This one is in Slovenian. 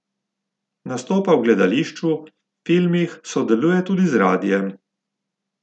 Nastopa v gledališču, filmih, sodeluje tudi z radiem.